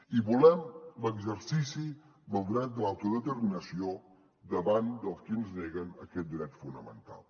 i volem l’exercici del dret de l’autodeterminació davant dels que ens neguen aquest dret fonamental